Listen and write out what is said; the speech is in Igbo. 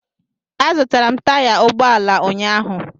Azụtara m taya ụgbọ ala ụnyaahụ